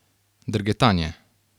Drgetanje.